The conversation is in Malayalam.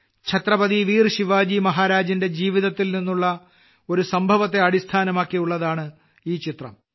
ഛത്രപതി വീർ ശിവജി മഹാരാജിന്റെ ജീവിതത്തിൽ നിന്നുള്ള ഒരു സംഭവത്തെ അടിസ്ഥാനമാക്കിയുള്ളതാണ് ഈ ചിത്രം